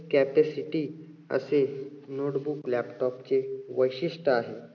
capacity असे notebook laptop चे वैशिष्ट्य आहे.